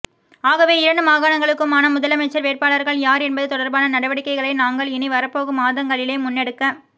ஆகவே இரண்டு மாகாணங்களுக்குமான முதலமைச்சர் வேட்பாளர்கள் யார் என்பது தொடர்பான நடவடிக்கைகளை நாங்கள் இனி வரப்போகும் மாதங்களிலே முன்னெடுக்